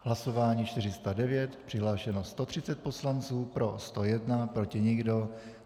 Hlasování 409, přihlášeno 130 poslanců, pro 101, proti nikdo.